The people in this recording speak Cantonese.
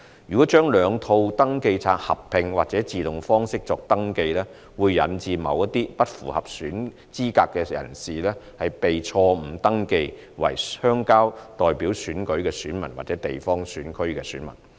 如將兩套登記冊合併及以自動方式作登記，會引致某些不符合資格的人士被錯誤登記為鄉郊代表選舉的選民或地方選區選民。